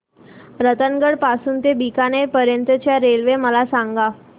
रतनगड पासून ते बीकानेर पर्यंत च्या रेल्वे मला सांगा